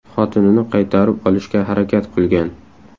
xotinini qaytarib olishga harakat qilgan.